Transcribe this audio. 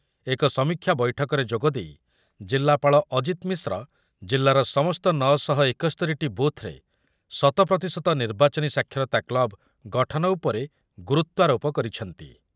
ଏକ ସମୀକ୍ଷା ବୈଠକରେ ଯୋଗ ଦେଇ ଜିଲ୍ଲାପାଳ ଅଜିତ ମିଶ୍ର ଜିଲ୍ଲାର ସମସ୍ତ ନଅ ଶହ ଏକସ୍ତୋରିଟି ବୁଥ୍‌ରେ ଶତ ପ୍ରତିଶତ ନିର୍ବାଚନୀ ସାକ୍ଷରତା କ୍ଲବ୍ ଗଠନ ଉପରେ ଗୁରୁତ୍ୱାରୋପ କରିଛନ୍ତି ।